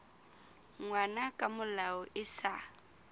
ngwana ka molao e sa